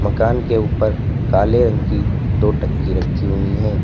मकान के ऊपर काले रंग की दो टंकी रखी हुई है।